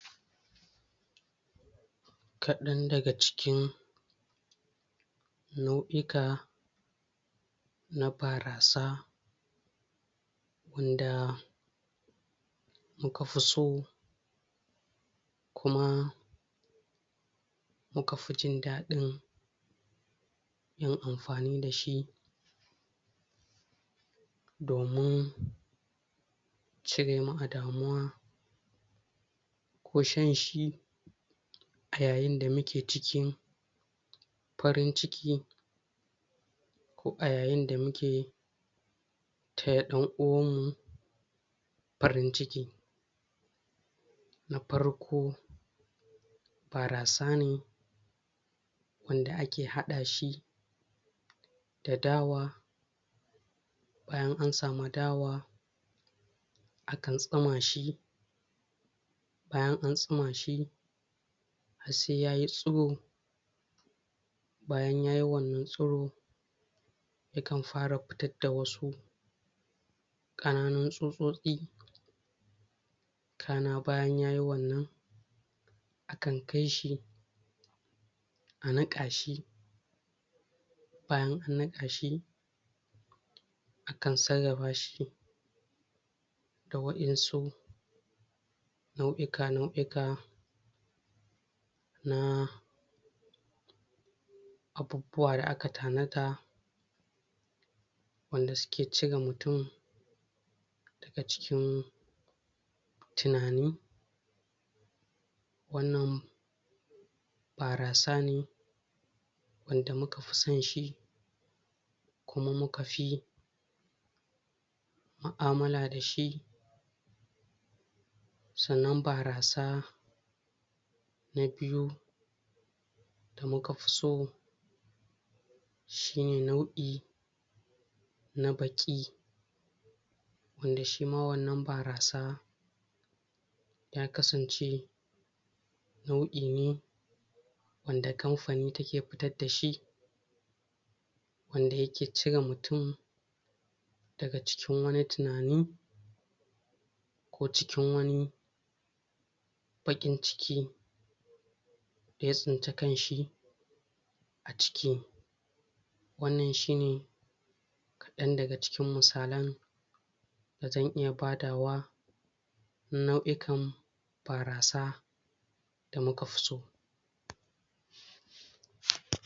Kaɗan daga cikin nauʼika na barasa, wanda muka fi so, kuma muka fi jin daɗi yin amfani dashi, domin cire mu a damuwa, ko shan shi a yayin da muke cikin farin ciki, ko a yayin da muke taya ɗan uwan mu farin ciki. Na farko: barasa ne wanda a ke haɗa shi da dawa, bayan an sami dawa, akan tsuma shi, bayan an tsuma shi har sai yayi tsiro, bayan yayi wannan tsiro, yakan fara fitar da wasu ƙananun tsutsotsi, kaːna bayan yayi wannan, a kan kai shi a niƙa shi, bayan an niƙa shi, akan sarrafa shi da waʼinsu nauʼika-nauʼika na abubuwa da a ka tanada, wanda suke cire mutum daga cikin tunani. Wannan barasa ne wanda muka fi son shi, kuma mu ka fi muʼamala dashi. Sannan barasa na biyu da mu ka fi so shine nauʼi na baƙi, wanda shi ma wannan barasa, ya kasance nau'i ne wanda kamfani take fitar dashi, wanda yake cire mutum daga cikin wani tunani, ko cikin wani baƙin ciki da ya tsinci kanshi a ciki. Wannan shi ne kaɗan daga cikin misalan da zan iya badawa, na nau'ikan barasa da muka fi so.